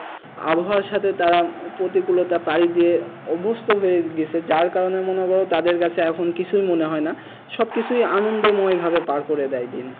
আবহাওয়ার সাথে তারা প্রতিকূলতা পায় দিয়ে অভ্যস্ত হয়ে গিয়েছে যার কারণে মনে করো তাদের কাছে এখন কিছুই মনে হয় না সবকিছুই আনন্দময় ভাবে পার করে দেয় দিন।